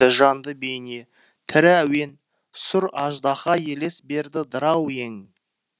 жанды бейне тірі әуен сұр аждаһа елес берді дырау өң